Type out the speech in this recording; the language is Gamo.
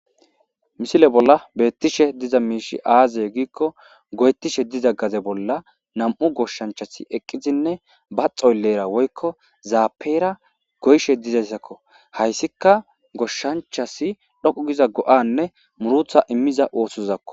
misile bolla beettishe diza miishi aazaye giikko goyettishe diza gaze bolla nam7u goshshanchasi eqqizinne ba xoylleera woykko zaapera goyshe dizayssakko hayssika goshshanchasi dhoqu giza go7anne murutha immiza othosozakko